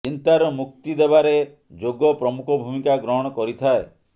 ଚିନ୍ତାରୁ ମୁକ୍ତି ଦେବାରେ ଯୋଗ ପ୍ରମୁଖ ଭୂମିକା ଗ୍ରହଣ କରିଥାଏ